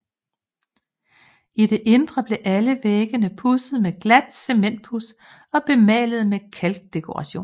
I det indre blev alle væggene pudset med glat cementpuds og bemalet med kalkdekorationer